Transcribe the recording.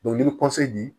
i bɛ di